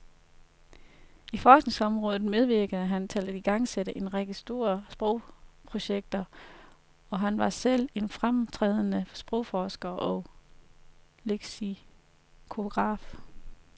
I forskningsrådet medvirkede han til at igangsætte en række store sprogprojekter, og han var selv en fremtrædende sprogforsker og leksikograf.